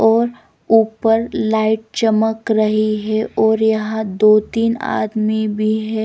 और ऊपर लाइट चमक रही है और यहाँ दो-तीन आदमी भी है।